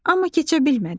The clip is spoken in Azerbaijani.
Amma keçə bilmədi.